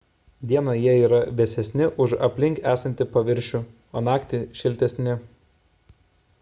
dieną jie yra vėsesni už aplink esantį paviršių o naktį – šiltesni